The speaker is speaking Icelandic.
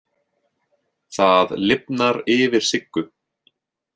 Það lifnar yfir Siggu.